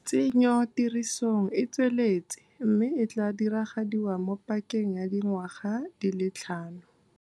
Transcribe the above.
Tsenyotirisong e tsweletse mme e tla diragadiwa mo pakeng ya di ngwaga di le tlhano.